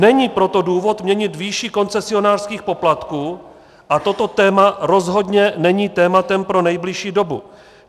Není proto důvod měnit výši koncesionářských poplatků a toto téma rozhodně není tématem pro nejbližší dobu.